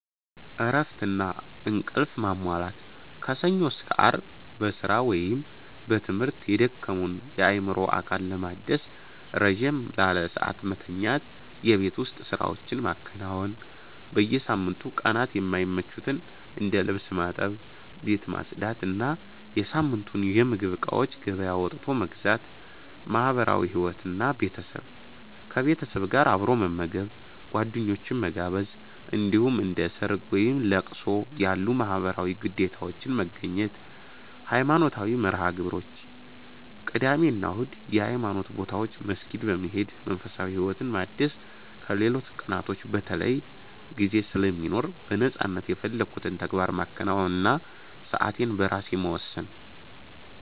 እረፍትና እንቅልፍ ማሟላት፦ ከሰኞ እስከ አርብ በስራ ወይም በትምህርት የደከመውን አእምሮና አካል ለማደስ ረዘም ላለ ሰዓት መተኛት። የቤት ውስጥ ስራዎችን ማከናወን፦ በሳምንቱ ቀናት የማይመቹትን እንደ ልብስ ማጠብ፣ ቤት ማጽዳት እና የሳምንቱን የምግብ እቃዎች ገበያ ወጥቶ መግዛት። ማህበራዊ ህይወት እና ቤተሰብ፦ ከቤተሰብ ጋር አብሮ መመገብ፣ ጓደኞችን መጋበዝ፣ እንዲሁም እንደ ሰርግ፣ ወይም ለቅሶ ያሉ ማህበራዊ ግዴታዎችን መገኘት። ሃይማኖታዊ መርሃ-ግብሮች፦ ቅዳሜ እና እሁድ የሃይማኖት ቦታዎች መስጊድ በመሄድ መንፈሳዊ ህይወትን ማደስ ከሌሎች ቀናቶች በተለይ ጊዜ ስለሚኖር በነፃነት የፈለኩትን ተግባር ማከናወን እና ሰአቴን በራሴ መወሰን።